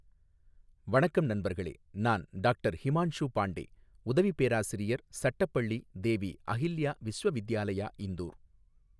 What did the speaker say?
வணக்கம் நண்பர்களே நான் டாக்டர் ஹிமான்ஷு பாண்டே உதவி பேராசிரியர் சட்டப் பள்ளி தேவி அஹில்யா விஸ்வவித்யாலயா இந்தூர்.